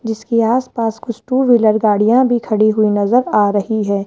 जिसके आस पास कुछ टू व्हीलर गाड़ियां भी खड़ी हुई नजर आ रही हैं।